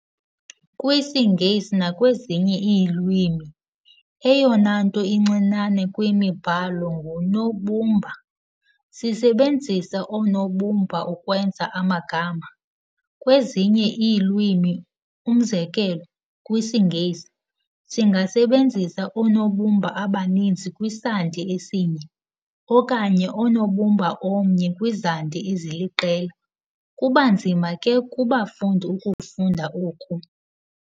KwisiNgesi nakwezinye iilwimi, eyona nto incinane kwimibhalo ngunobumba. sisebenzisa oonobumba ukwenza amagama. Kwezinye iilwimi, umzekelo, kwisiNgesi, singasebenzisa oonobumba abaninzi kwisandi esinye, okanye unobumba omnye kwizandi eziliqela. kubanzima ke kubafundi ukufunda oku.